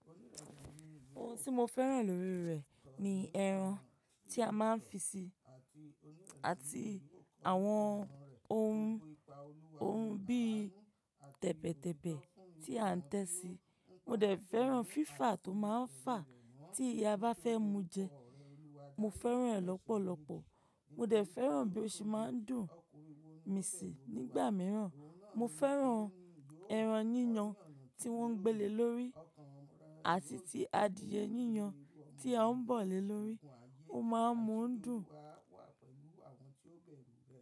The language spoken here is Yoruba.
Ohun tí mo fẹ́ràn lórí rẹ̀ ni ẹran tí a máa ń fi sí i àti àwọn ohun, ohun bí i tẹ̀bẹ̀tẹ̀bẹ̀ tí à ń tẹ sí i. Mo dẹ̀ fẹ́ràn fífà tó máa ń fà á tí ìyá bá fẹ́ mu jẹ. Mo fẹ́ràn rẹ̀ lọ́pọ̀lọpọ̀. Mo dẹ̀ fẹ́ràn bí ó ṣe máa ń dùn mi sí nígbà mìíràn. Mo fẹ́ràn ẹran yíyan tí wọ́n ń gbẹ́lé lórí àti ti adìẹ yíyan tí a ń bọ̀ lé lórí. Ó máa ń mu dùn.